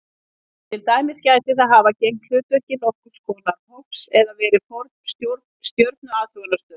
Til dæmis gæti það hafa gegnt hlutverki nokkurs konar hofs eða verið forn stjörnuathugunarstöð.